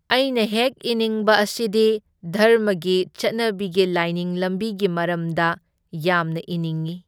ꯑꯩꯅ ꯍꯦꯛ ꯏꯅꯤꯡꯕ ꯑꯁꯤꯗꯤ ꯙꯔꯃꯒꯤ ꯆꯠꯅꯕꯤꯒꯤ ꯂꯥꯏꯅꯤꯡ ꯂꯝꯕꯤꯒꯤ ꯃꯔꯝꯗ ꯌꯥꯝꯅ ꯏꯅꯤꯡꯏ꯫